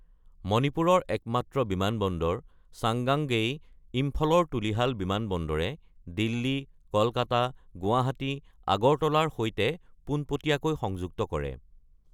মণিপুৰৰ একমাত্ৰ বিমানবন্দৰ, চাংগাংগেই ইম্ফলৰ তুলিহাল বিমানবন্দৰে, দিল্লী, কলকাতা, গুৱাহাটী, আগৰতলাৰ সৈতে পোনপটীয়াকৈ সংযুক্ত কৰে।